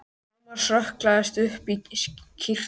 Thomas hrökklaðist upp í kytruna sína.